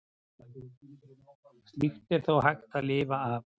Slíkt er þó hægt að lifa af.